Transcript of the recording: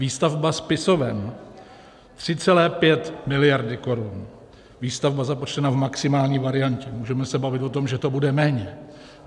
Výstavba spisoven 3,5 miliardy korun - výstavba započtena v maximální variantě, můžeme se bavit o tom, že to bude méně.